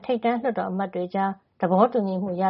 ထိပ်တန်း လွှတ်တော်အမတ်တွေကြား တနင်္ဂနွေနေ့က သဘောတူညီမှု ရ